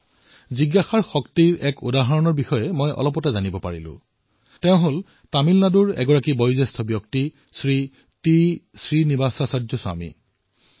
জিজ্ঞাসাৰ এনে এক শক্তিৰ উদাহৰণ মই গম পালো তামিলনাডুৰ বয়সস্থ শ্ৰী টি শ্ৰীনিবাসাচাৰ্য স্বামীজীৰ বিষয়ে